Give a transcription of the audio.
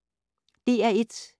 DR1